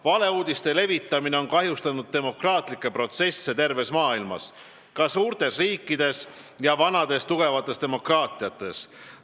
Valeuudiste levitamine on kahjustanud demokraatlikke protsesse terves maailmas, ka suurtes riikides ja vanades tugevates demokraatiates.